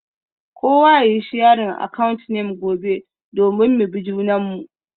Kowa yayi sharing account name gobe domin mu bi junanmu.